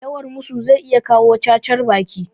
Yawan musu zai iya jawo cacar baki